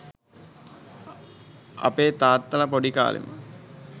අපේ තාත්තල පොඩිකාලෙ